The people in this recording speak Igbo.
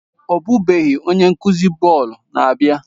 Ọbụbeghị, onye nkuzi bọọlụ na-abịa.